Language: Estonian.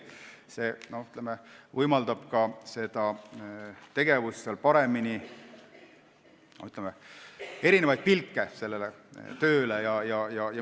See võimaldab ka erinevat pilku sellele tööle.